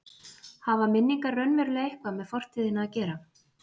Hafa minningar raunverulega eitthvað með fortíðina að gera?